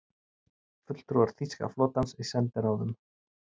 Fulltrúar þýska flotans í sendiráðum